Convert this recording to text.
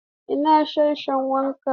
Ina sashen wanki?